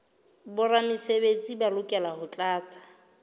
boramesebetsi ba lokela ho tlatsa